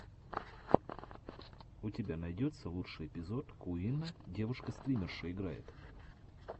у тебя найдется лучший эпизод куинна девушка стримерша играет